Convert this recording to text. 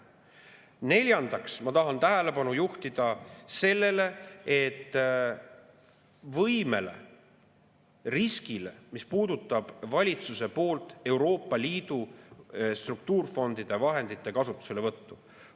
Neljandaks, ma tahan tähelepanu juhtida sellele riskiga seotud võimele, mis puudutab valitsuse poolt Euroopa Liidu struktuurifondide vahendite kasutuselevõttu.